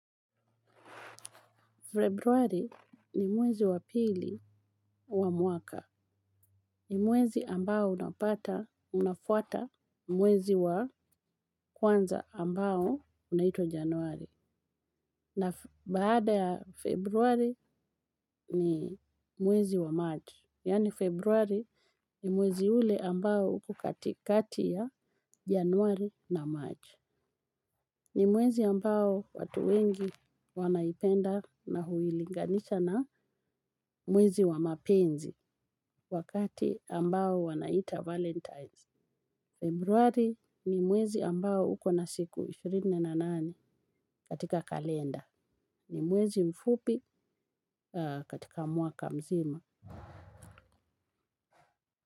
Februari ni mwezi wa pili wa mwaka. Ni mwezi ambao unapata unafuata mwezi wa kwanza ambao unaitwa januari. Na baada ya februari ni mwezi wa march. Yani februari ni mwezi ule ambao uko katikati ya januari na march. Ni mwezi ambao watu wengi wanaipenda na huilinganisha na mwezi wa mapenzi wakati ambao wanaita valentines. Februari ni mwezi ambao uko na siku ishirini na nane katika kalenda. Ni mwezi mfupi katika mwaka mzima.